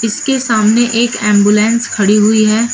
इसके सामने एक एंबुलेंस खड़ी हुई है।